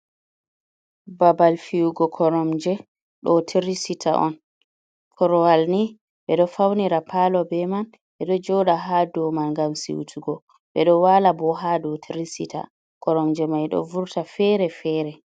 Babal fiyugo koromje, ɗo tiri sita on, korowal ni ɓe ɗo faunira paalo be man, ɓe ɗo jooɗa haa do man ngam siutugo, ɓe ɗo waala ɓo haa doo tiri sita, koromje mai ɗo vurta fere-fere.